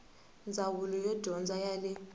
ndzawulo ya dyondzo ya le